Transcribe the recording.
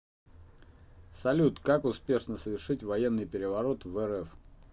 салют как успешно совершить военный переворот в рф